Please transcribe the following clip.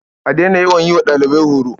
A daina yawan yi wa ɗalibai horo.